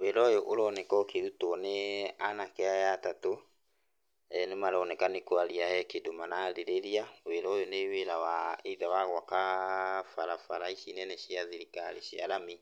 Wĩra ũyũ ũroneke ũkĩrutwo nĩanake aya atatũ nĩmaroneka nĩ kwaria nĩmaroneka nĩ wĩra mararĩrĩria, ũyũ nĩ wĩra wa either wa gwaka barabara ici nene cia thirikari cia rami